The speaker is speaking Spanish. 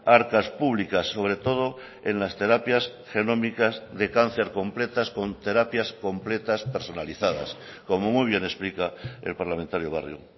arcas públicas sobre todo en las terapias genómicas de cáncer completas con terapias completas personalizadas como muy bien explica el parlamentario barrio